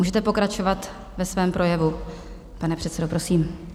Můžete pokračovat ve svém projevu, pane předsedo, prosím.